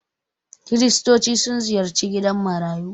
Kiristoci sun ziyarci gidan marayu.